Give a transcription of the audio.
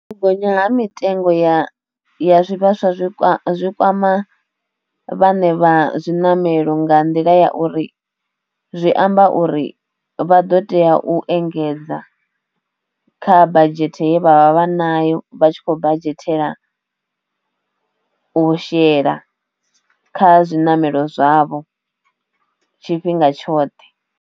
U gonya ha mitengo ya zwivhaswa zwi kwama vhaṋe vha zwiṋamelo nga nḓila ya uri zwi amba uri vha ḓo tea u engedza kha badzhete ye vhavha vha nayo vha tshi kho badzhetela u shela kha zwiṋamelo zwavho tshifhinga tshoṱhe.